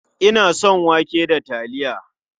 Ina son wake da taliya.